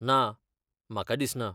ना, म्हाका दिसना.